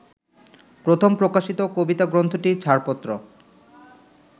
প্রথম প্রকাশিত কবিতাগ্রন্থটি ছাড়পত্র